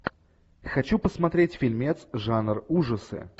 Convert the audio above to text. хочу посмотреть фильмец жанр ужасы